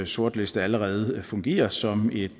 sortliste allerede fungerer som et